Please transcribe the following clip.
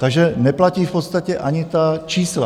Takže neplatí v podstatě ani ta čísla.